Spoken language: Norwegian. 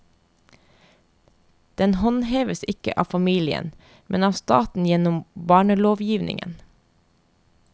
Den håndheves ikke av familien, men av staten gjennom barnelovgivningen.